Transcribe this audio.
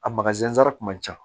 A kun ka ca